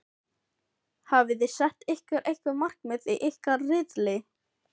Hafiði sett ykkur einhver markmið í ykkar riðli?